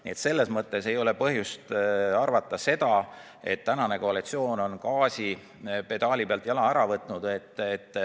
Nii et selles mõttes ei ole põhjust arvata, et tänane koalitsioon on gaasipedaali pealt jala ära võtnud.